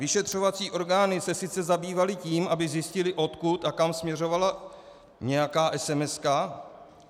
Vyšetřovací orgány se sice zabývaly tím, aby zjistily, odkud a kam směřovala nějaká SMS.